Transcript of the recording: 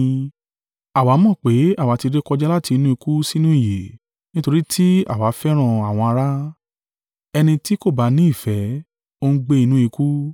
Àwa mọ̀ pé àwa tí rékọjá láti inú ikú sínú ìyè, nítorí tí àwa fẹ́ràn àwọn ará. Ẹni tí kò ba ni ìfẹ́, ó ń gbé inú ikú.